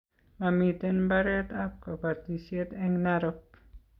mamiten mbaretab kabatisiet eng Narok